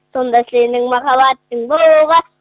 сонда сенің махаббатың болуға